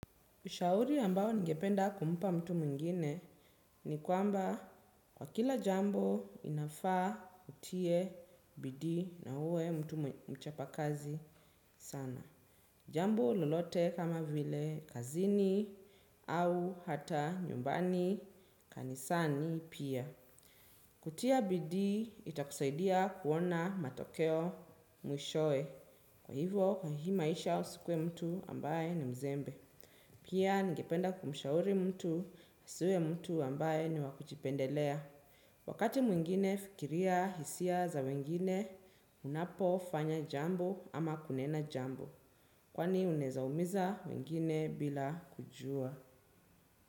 Ushauri ambao ningependa kumpa mtu mwingine ni kwamba kwa kila jambo inafaa utie bidii na uwe mtu mchapa kazi sana. Jambo lolote kama vile kazini au hata nyumbani kanisani pia. Kutia bidii itakusaidia kuona matokeo mwishoe. Kwa hivyo kwa hii maisha usikuwe mtu ambaye ni mzembe. Pia ningependa kumshauri mtu, asiwe mtu ambaye ni wakujipendelea. Wakati mwingine fikiria hisia za wengine, unapo fanya jambo ama kunena jambo. Kwani unaweza umiza wengine bila kujua.